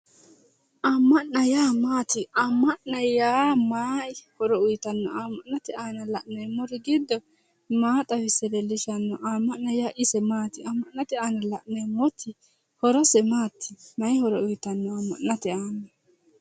amma'na yaa maat? amma'na yaa may horo uuyitanno? amma'nate aana la'neemmori giddo maa xawisse leellishshanno? amma'na yaa ise maati? amma'nate aana la'neemmoti horose mati msy horo uuytanno amma'nate aana ?